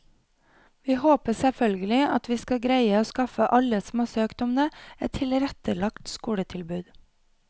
Vi håper selvfølgelig at vi skal greie å skaffe alle som har søkt om det, et tilrettelagt skoletilbud.